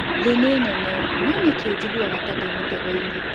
Thĩ nĩ nene, no nĩkĩ njiguaga ta ndĩ mũtego-inĩ?